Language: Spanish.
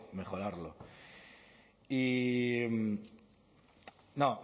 mejorarlo y no